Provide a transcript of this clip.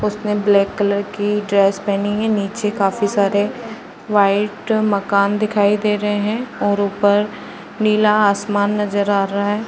उसने black colour की dress पहनी है। नीचे काफ़ी सारे वाइट मकान दिखाई दे रहे हैं और उपर नीला आसमान नजर आ रहा है।